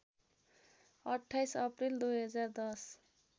२८ April २०१०